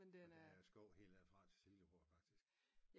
Men den er